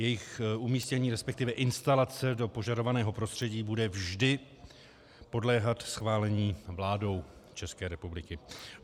Jejich umístění, respektive instalace do požadovaného prostředí, bude vždy podléhat schválení vládou České republiky.